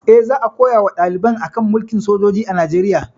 Eh, za a koya wa ɗaliban a kan mulkin sojoji a Najeriya